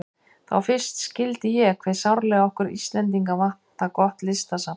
Þá fyrst skildi ég hve sárlega okkur Íslendinga vantar gott listasafn.